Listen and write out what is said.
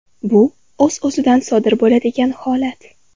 Bu o‘z-o‘zidan sodir bo‘ladigan holat.